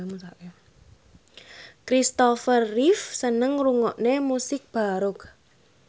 Kristopher Reeve seneng ngrungokne musik baroque